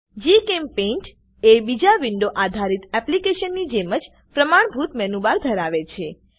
જીચેમ્પેઇન્ટ એ બીજા વિન્ડો આધારિત એપ્લીકેશન ની જેમ જ પ્રમાણભૂત મેનુ બાર ધરાવે છે